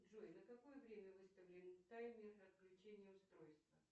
джой на какое время выставлен таймер отключения устройства